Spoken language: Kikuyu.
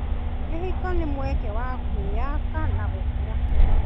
Kĩhiko nĩ mweke wa kwĩyaka na gũkũra.